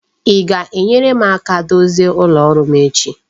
I ga-enyere m aka dozie ụlọ rụọ m echi?